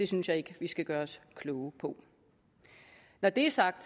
synes jeg ikke vi skal gøre os kloge på når det er sagt